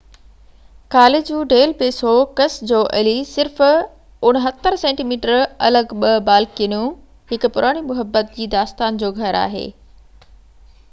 ڪاليجون ڊيل بيسو ڪس جو الي. صرف 69 سينٽي ميٽر الڳ ٻه بالڪنيون هڪ پراڻي محبت جي داستان جو گهر آهن